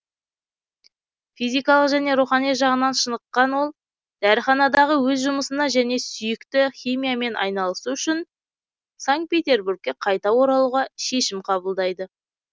физикалық және рухани жағынан шыныққан ол дәріханадағы өз жұмысына және сүйікті химиямен айналысу үшін санкт петербургке қайта оралуға шешім қабылдайды